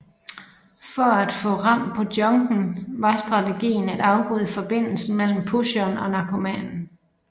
For at få hold på junken var strategien at afbryde forbindelsen mellem pusheren og narkomanen